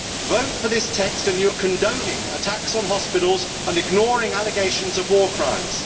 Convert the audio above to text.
Vote for this text and you are condoning attacks on hospitals and ignoring allegations of war crimes.